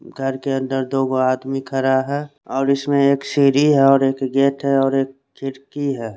घर के अंदर दो आदमी खड़ा है और इसमें एक शेरी है और गेट है और एक खिड़की है।